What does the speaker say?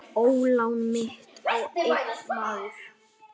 Ólán mitt á einn maður.